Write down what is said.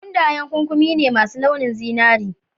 Mundayen ƙuƙumi ne masu launin zinari.